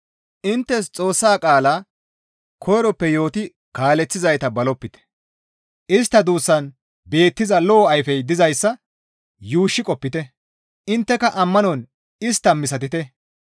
Inttes Xoossa qaala koyroppe yooti kaaleththizayta balopite; istta duussan beettiza lo7o ayfey dizayssa yuushshi qopite; intteka ammanon istta misatite.